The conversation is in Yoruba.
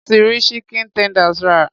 Mo ti rí chicken tenders rà.